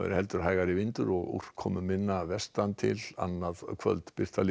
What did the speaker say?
heldur hægari vindur og úrkomuminna vestan til annað kvöld Birta Líf